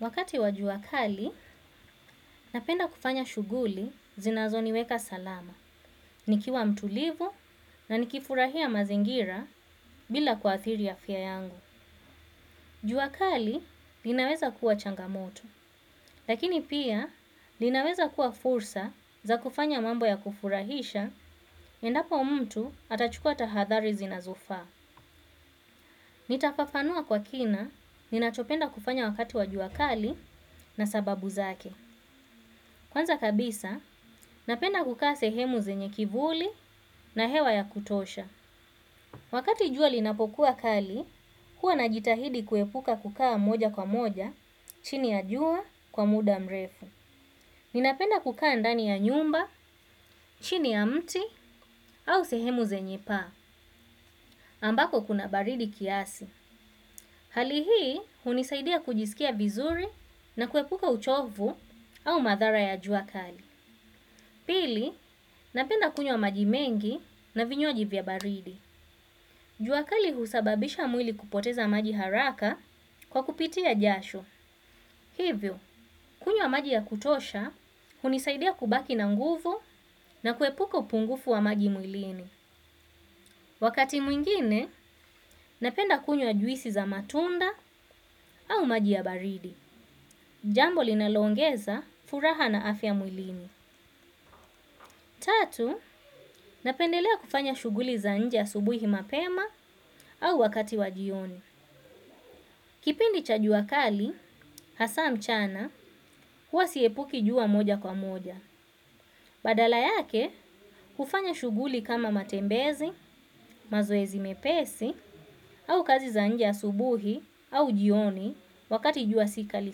Wakati wa juakali, napenda kufanya shughuli zinazo niweka salama, nikiwa mtulivu na nikifurahia mazingira bila kuathiri afya yangu. Jua kali linaweza kuwa changamoto lakini pia linaweza kuwa fursa za kufanya mambo ya kufurahisha endapo mtu atachukua tahadhari zinazofaa. Nitafafanua kwa kina, ninachopenda kufanya wakati wa juakali na sababu zake. Kwanza kabisa, napenda kukaa sehemu zenye kivuli na hewa ya kutosha. Wakati jua linapokuwa kali, huwa na jitahidi kuepuka kukaa moja kwa moja, chini ya jua kwa muda mrefu. Ninapenda kukaa ndani ya nyumba, chini ya mti, au sehemu zenye paa, ambako kuna baridi kiasi. Halihii, hunisaidia kujisikia vizuri na kuepuka uchovu au madhara ya jua kali. Pili, napenda kunywa maji mengi na vinywaji vya baridi. Juakali husababisha mwili kupoteza maji haraka kwa kupitia jasho. Hivyo, kunywa maji ya kutosha, hunisaidea kubaki na nguvu na kuepuka upungufu wa maji mwilini. Wakati mwingine, napenda kunyo wa juisi za matunda au maji ya baridi. Jambo linaloongeza furaha na afya mwilini. Tatu, napendelea kufanya shughuli za nje asubuhi mapema au wakati wajioni. Kipindi cha juakali, hasa mchana, huwa siepuki jua moja kwa moja. Badala yake, kufanya shughuli kama matembezi, mazoezi mepesi, au kazi za nje asubuhi au jioni wakati jua sikali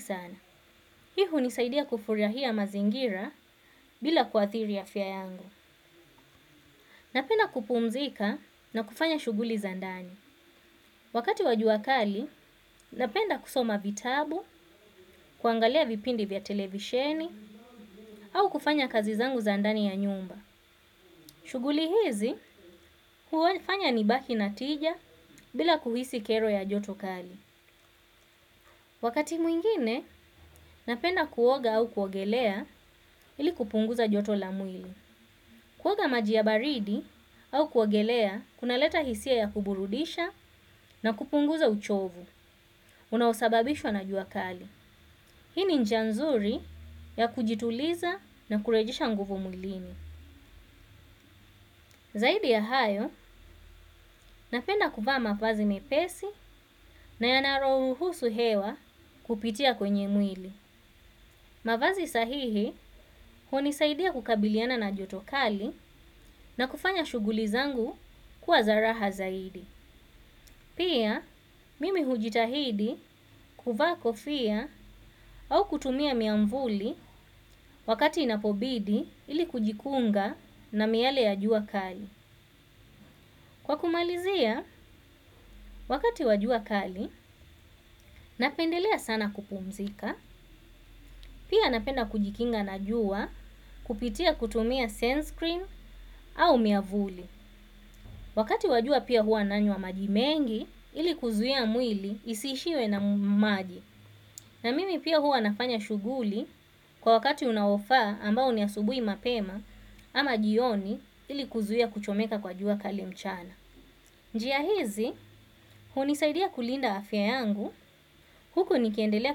sana. Hii hunisaidia kufurahia mazingira bila kuathiri afya yangu. Napenda kupumzika na kufanya shughuli za ndani. Wakati wajua kali, napenda kusoma vitabu, kuangalia vipindi vya televisheni, au kufanya kazi zangu za ndani ya nyumba. Shughuli hizi, huofanya nibaki natija bila kuhisi kero ya joto kali. Wakati mwingine, napenda kuoga au kuogelea ili kupunguza joto lamwili. Kuoga maji ya baridi au kuogelea, kuna leta hisia ya kuburudisha na kupunguza uchovu. Unaosababishwa na jua kali. Hii ni njia nzuri ya kujituliza na kurejesha nguvu mwilini. Zaidi ya hayo napenda kuvaa mavazi mepesi na yanarohuhusu hewa kupitia kwenye mwili. Mavazi sahihi hunisaidia kukabiliana na joto kali na kufanya shuguli zangu kuwa zaraha zaidi. Pia, mimi hujitahidi kuvaa kofia au kutumia miamvuli wakati inapobidi ili kujikunga na miale ya jua kali. Kwa kumalizia, wakati wajua kali, napendelea sana kupumzika, pia napenda kujikinga na jua kupitia kutumia sunscreen au miavuli. Wakati wa jua pia huwa nanywa maji mengi ili kuzuia mwili isiishiwe na maji. Na mimi pia hua nafanya shughuli kwa wakati unaofaa ambao ni asubuhi mapema ama jioni ili kuzuia kuchomeka kwa juakali mchana. Njia hizi, hunisaidia kulinda afya yangu, huku nikiendelea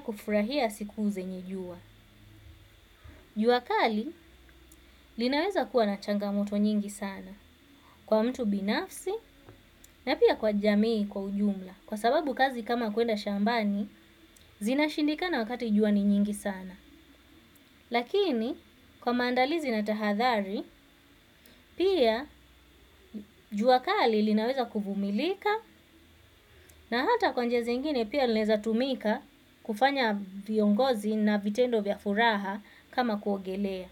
kufurahia siku zenye jua. Juakali, linaweza kuwa na changamoto nyingi sana. Kwa mtu binafsi na pia kwa jamii kwa ujumla kwa sababu kazi kama kuenda shambani zinashindika na wakati jua ni nyingi sana. Lakini kwa maandalizi na tahadhari pia juakali linaweza kuvumilika na hata kwanjia zi ingine pia linaweza tumika kufanya viongozi na vitendo vya furaha kama kuogelea.